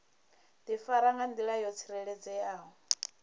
difara nga ndila yo tsireledzeaho